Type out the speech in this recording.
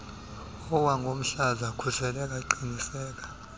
awangomhlaza khuseleka qiniseka